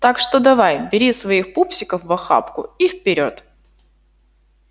так что давай бери своих пупсиков в охапку и вперёд